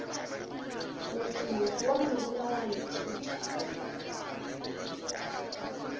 mosomoso wa morula wa ntšhutha